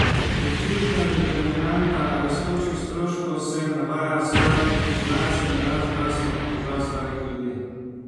Kot ključna determinanta rastočih stroškov se navaja staranje populacije in rast zdravstvenih težav starih ljudi.